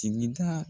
Sigida